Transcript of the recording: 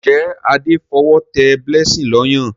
Njé Ade f'owo té blessing ló Ọyàn?